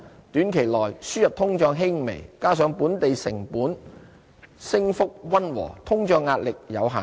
短期內，輸入通脹輕微，加上本地成本升幅溫和，通脹壓力有限。